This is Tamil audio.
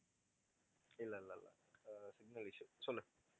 இல்ல இல்ல இல்ல ஆஹ் signal issue சொல்லு